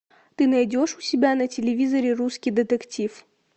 ты найдешь у себя на телевизоре русский детектив